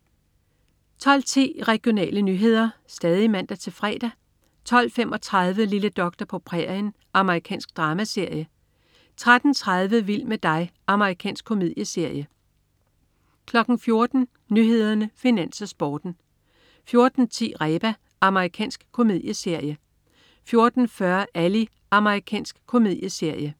12.10 Regionale nyheder (man-fre) 12.35 Lille doktor på prærien. Amerikansk dramaserie (man-fre) 13.30 Vild med dig. Amerikansk komedieserie (man-fre) 14.00 Nyhederne, Finans, Sporten (man-fre) 14.10 Reba. Amerikansk komedieserie (man-fre) 14.40 Ally. Amerikansk komedieserie (man-fre)